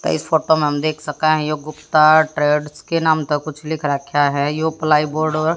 तो इस फोटो में हम देख सके हैं यो गुप्ता ट्रेड्स के नाम का कुछ लिख रखा है यू प्लाईबोर्ड औ--